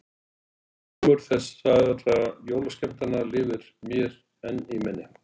Ómur þessara jólaskemmtana lifir mér enn í minni.